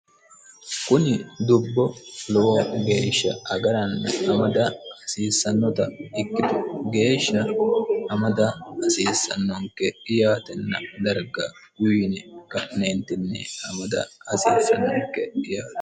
Kuni dubbo lowo geeshsha agarana amada hasiissanota ikkitu geesha amada hasiissanonke yaatenna Darga uyiine ka'neentini amada hasiissanonke yaate.